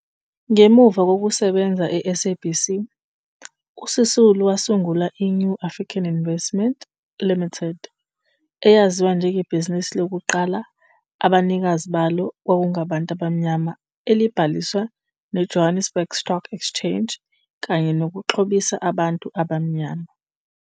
Ngemuva kokusebenza e-SABC, uSisulu wasungula i-New African Investments Limited, eyaziwa njengebhizinisi lokuqala abanikazi balo okwakungabantu abamnyama ellabhaliswa neJohannesburg Stock Exchange kanye nokuxhobisa abantu abamnyama.